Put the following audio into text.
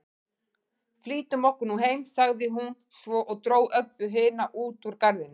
Flýtum okkur nú heim, sagði hún svo og dró Öbbu hina út úr garðinum.